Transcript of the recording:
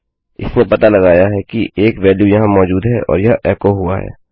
इसने पता लगाया है कि एक वेल्यू यहाँ मौजूद है और यह एको हुआ है